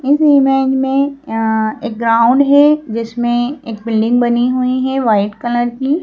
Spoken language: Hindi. इस इमेज में अ एक ग्राउंड है जिसमें एक बिल्डिंग बनी हुई है वाइट कलर की--